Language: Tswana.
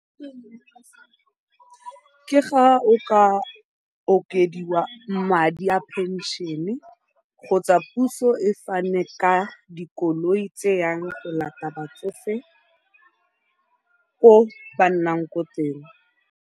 Ke fa go ka okediwa madi a pension-e kgotsa puso e fane ka dikoloi tse di yang go latela batsofe ko ba nnang ko teng.